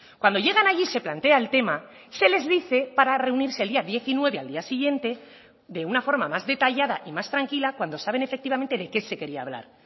cuando llegan allí se plantea el tema se les dice para reunirse el día diecinueve al día siguiente de una forma más detallada y más tranquila cuando saben efectivamente de qué se quería hablar